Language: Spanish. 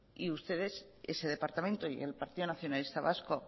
ustedes ese departamento y el partido nacionalista vasco